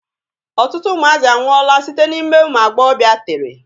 Ọtụtụ ụmụazị anwụọla site na ime ụmụ agbọbịa tere.